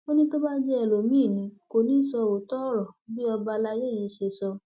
ó ní tó bá jẹ ẹlòmíín ni kò ní í sọ òótọ ọrọ bí ọba àlàyé yìí ṣe sọ